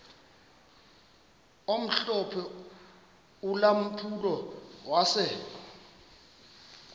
omhlophe ulampulo wase